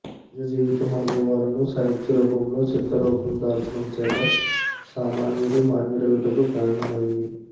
నిజజీవితం అనుభవాలను సాహిత్యరూపంలో స్థిరరూపం దాల్చడం చేత సామాన్యుడు మాన్యుడగుటకు కారణమైంది